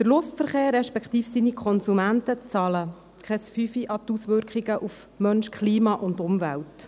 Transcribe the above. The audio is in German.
Der Luftverkehr, respektive seine Konsumenten, zahlen keine 5 Rappen an die Auswirkungen auf Mensch, Klima und Umwelt.